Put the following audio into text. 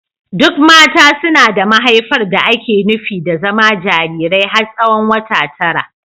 Duk mata suna da mahaifar da ake nufi da zama jarirai har tsawon wata tara.